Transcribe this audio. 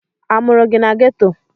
A mụrụ gị na geto?